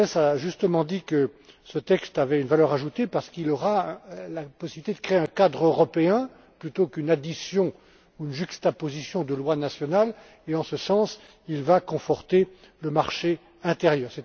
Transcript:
Gauzès a justement dit que ce texte avait une valeur ajoutée parce qu'il aura la possibilité de créer un cadre européen, plutôt qu'une addition ou une juxtaposition de lois nationales et, en ce sens, il va conforter le marché intérieur.